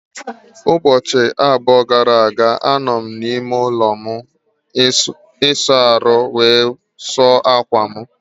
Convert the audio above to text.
Ụbọchị abụọ gara aga, anọ m n'ime ụlọ ịsa ahụ wee sụọ akwa m.